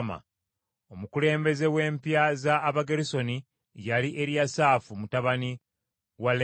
Omukulembeze w’empya za Abagerusoni yali Eriyasaafu mutabani wa Laeri.